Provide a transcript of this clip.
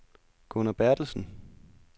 Gunnar Berthelsen